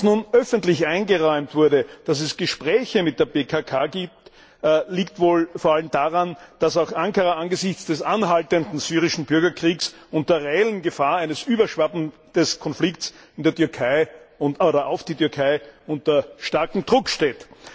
Dass nun öffentlich eingeräumt wurde, dass es Gespräche mit der PKK gibt, liegt wohl vor allem daran, dass auch Ankara angesichts des anhaltenden syrischen Bürgerkriegs und der reellen Gefahr eines Überschwappens des Konflikts auf die Türkei unter starkem Druck steht.